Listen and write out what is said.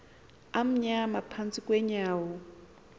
amnyama phantsi kweenyawo